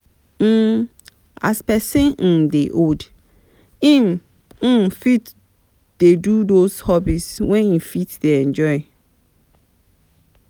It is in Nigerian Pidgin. um As person um dey old, im um fit dey do those hobbies wey im dey enjoy